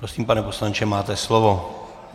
Prosím, pane poslanče, máte slovo.